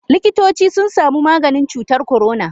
Likitoci sun samu maganin cutar corona.